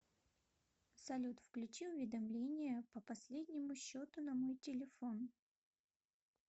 салют включи уведомления по последнему счету на мой телефон